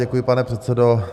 Děkuji, pane předsedo.